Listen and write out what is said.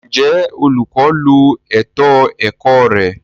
Njẹ olukọ lo ètò ẹkọ rẹ?